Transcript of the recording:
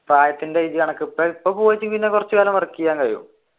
പ്രായത്തിന്റെ age കണക്ക് ഇപ്പൊ പോയിട്ടുണ്ടെങ്കിൽ കുറച്ചു കാലം work ചെയ്യാൻ കഴിയും